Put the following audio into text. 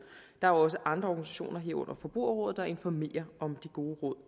der er også andre organisationer herunder forbrugerrådet der informerer om de gode råd